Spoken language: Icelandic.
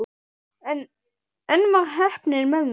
En enn var heppnin með mér.